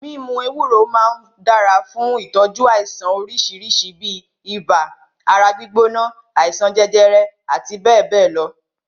Mímu ewé ewúro máà ń dára fún ìtọ́jú àìsàn oríṣi bíi ibà, ara gbígbóná, àìsàn jẹjẹrẹ àti bẹ́ẹ̀bẹ́ẹ̀ lọ.